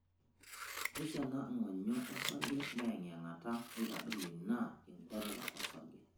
Neisho ena ng'onyo osarge meeyeng'iyeng'ata neitadoyio ina enkuata osarge.